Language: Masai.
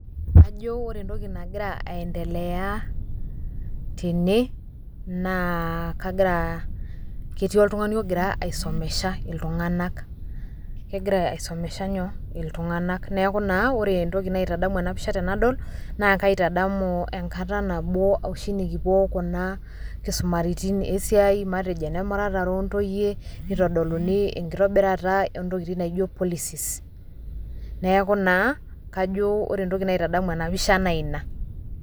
Kajo ore entoki nagira aendelea tene naa kagira , ketii oltungani ogira aisomesha iltunganak, kegira aisomesha nyoo iltunganak. Niaku naa ore entoki naitadamu ena pisha tenadol naa kaitadamu enkata nabo oshi nikipuo kuna kisumaritin esiai , matejo ene muratare ontoyie , nitodoluni enkitobirata ontokitin naijo policies, neaku naa ore entoki naitadamu ena pisha naa ina .